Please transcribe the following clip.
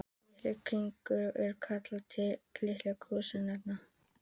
Litir kirkjunnar eru kallaðir litir kirkjuársins.